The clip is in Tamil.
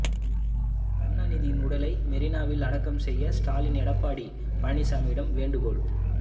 கருணாநிதியின் உடலை மெரினாவில் அடக்கம் செய்ய ஸ்டாலின் எடப்பாடி பழனிசாமியிடம் வேண்டுகோள்